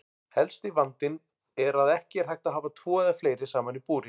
Helsti vandinn er að ekki er hægt að hafa tvo eða fleiri saman í búri.